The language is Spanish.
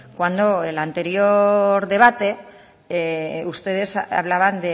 cuando el anterior debate ustedes hablaban